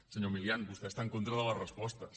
senyor milián vostè està en contra de les respostes